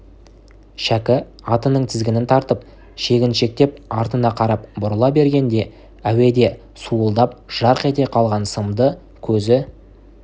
шәкі атының тізгінін тартып шегіншектеп артына қарап бұрыла бергенде әуеде суылдап жарқ ете қалған сымды көзі